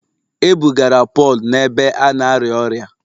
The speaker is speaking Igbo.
E bugara Pọl n’ebe a na-arịa ọrịa